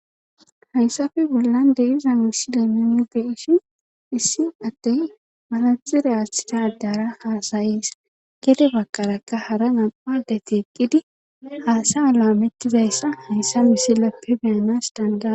hayssafe bollan de iza misi leeminge ishi issi attey malaxire aaththida addara haasayis gede baqarakka hara nampadete eqqidi haasa alaamettizayssa hayssa miselappe beyanas dandayadis